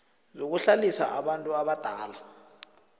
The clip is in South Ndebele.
zokuhlalisa abantu abadala